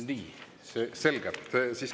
Nii, selge.